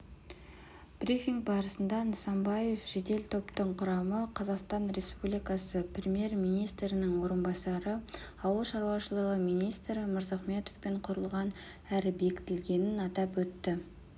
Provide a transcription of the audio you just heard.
брифинг барысында нысанбаев жедел топтың құрамы қазақстан республикасы премьер-министрінің орынбасары ауыл шаруашылығы министрі мырзахметовпен құрылғанын әрі бекітілгенін атап өтті